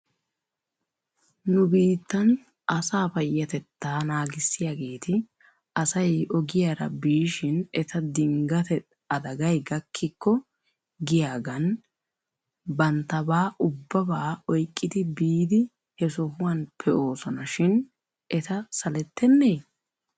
Nu biittan asaa payyatettettaa naagissiyaageeti asay ogiyaara biishin eta dinggate adagay gakkikko giyaagan banttabaa ubbabaa oyqqidi biidi he sohuwan pee'oosona shin eta salettennee?